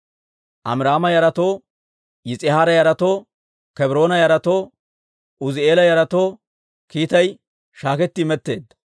Amiraama yaratoo, Yis'ihaara yaratoo, Kebroona yaratoo Uuzi'eela yaratoo kiitay shaaketti imetteedda.